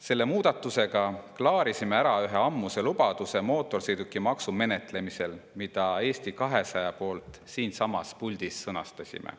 Selle muudatusega klaarisime ära ühe ammuse lubaduse mootorsõidukimaksu menetlemisel, mida Eesti 200 nimel siinsamas puldis sõnastasime.